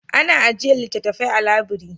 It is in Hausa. Ana ajiyar littattafai a labiri.